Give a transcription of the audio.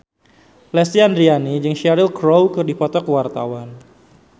Lesti Andryani jeung Cheryl Crow keur dipoto ku wartawan